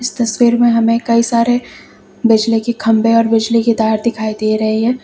तस्वीर में हमें कई सारे बिजली की खंभे और बिजली की तार दिखाई दे रही है।